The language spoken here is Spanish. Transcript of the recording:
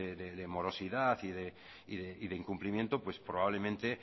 de morosidad y de incumplimiento probablemente